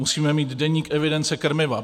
Musíme mít deník evidence krmiva.